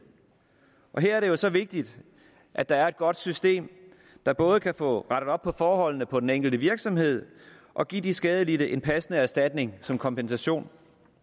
og her er det jo så vigtigt at der er et godt system der både kan få rettet op på forholdene på den enkelte virksomhed og give de skadelidte en passende erstatning som kompensation